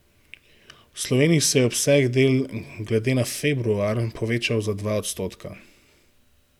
V Sloveniji se je obseg del glede na februar povečal za dva odstotka.